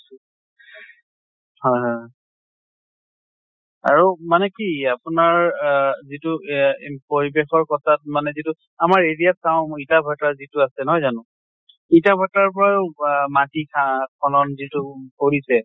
হয় হয় হয়। আৰু মানে কি আপোনাৰ আহ যিটো এয়া পৰিবেশৰ কথাত মানে যিটো আমাৰ area চাওঁ ইটা ভাটা যিটো আছে নহয় জানো? ইটা ভাটাৰ পৰা হোৱা মাটি সাপ ফলন যিটো কৰিছে